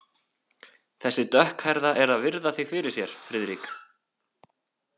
Þessi dökkhærða er að virða þig fyrir sér, Friðrik.